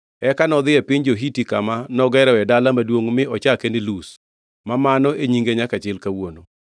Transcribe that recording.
Eka nodhi e piny jo-Hiti, kama nogeroe dala maduongʼ mi ochake ni Luz, ma mano e nyinge nyaka chil kawuono.